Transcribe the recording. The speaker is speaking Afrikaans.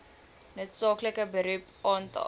noodsaaklike beroep aantal